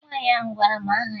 Nwaanyị ahụ gwara m aha ya